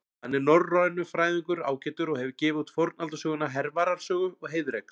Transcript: Hann er norrænufræðingur ágætur og hefur gefið út fornaldarsöguna Hervarar sögu og Heiðreks.